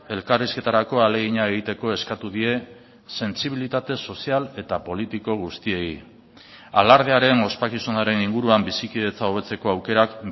elkarrizketarako ahalegina egiteko eskatu die sentsibilitate sozial eta politiko guztiei alardearen ospakizunaren inguruan bizikidetza hobetzeko aukerak